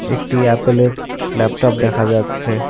একটি অ্যাপল -এর ল্যাপটপ দেখা যাচ্ছে।